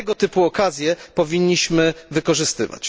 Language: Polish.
Tego typu okazje powinniśmy wykorzystywać.